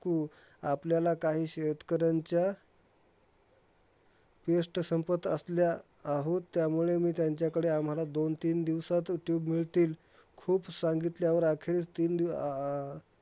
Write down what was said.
कु. आपल्याला काही शेतकऱ्यांच्या paste संपत असल्या आहोत, त्यामुळे मी त्यांच्याकडे आम्हाला दोन तीन दिवसातचं tube मिळतील खूप सांगितल्यावर आखिर तीन दिव अं